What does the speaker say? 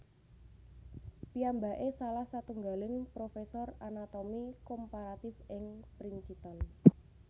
Piyambaké salah satunggaling profesor anatomi komparatif ing Princeton